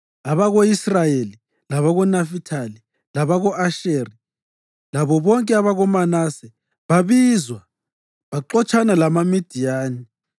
Abako-Israyeli labakoNafithali, labako-Asheri labo bonke abakoManase babizwa, baxotshana lamaMidiyani.